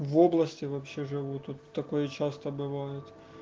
в области вообще живу тут такое часто бывает